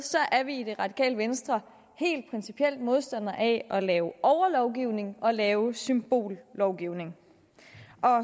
er vi i det radikale venstre helt principielt modstandere af at lave overlovgivning og lave symbollovgivning